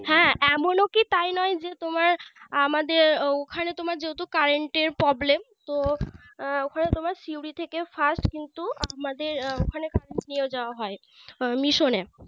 হ্যাঁ এমনও কি তাই নিয়ে যে তোমার আমাদের ওখানে যেহেতু তোমার Current এর Problem তো উম ওখানে তোমার সিউড়ি থেকে First কিন্তু আমাদের ওখানে নিয়ে যাওয়া হয় Mission এ